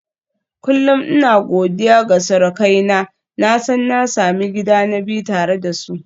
Kullum ina godiya ga surukaina, na san na sami gida na biyu tare da su.